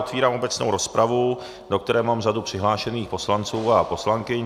Otevírám obecnou rozpravu, do které mám řadu přihlášených poslanců a poslankyň.